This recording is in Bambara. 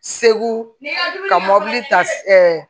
Segu ka mɔbili ta